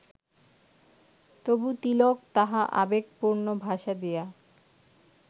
তবু তিলক তাহা আবেগপূর্ণ ভাষা দিয়া